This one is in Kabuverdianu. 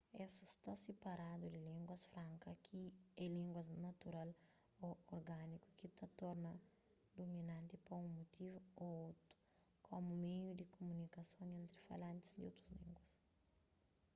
es sta siparadu di línguas franka ki é línguas natural ô organiku ki ta torna duminanti pa un mutivu ô otu komu meiu di kumunikason entri falantis di otus língua